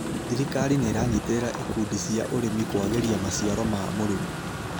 Thirikar nĩĩranyiterera ikumdi cia ũrĩmi kũageria maciaro ma mũrĩmi